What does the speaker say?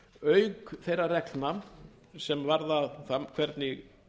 auk þeirra reglna sem varða það hvernig